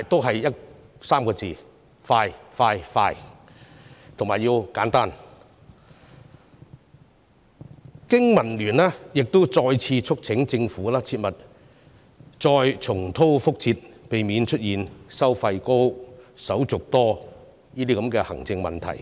3個字：快、快、快，以及要簡單。經民聯亦再次促請政府切勿重蹈覆轍，要避免出現收費高、手續多的行政問題。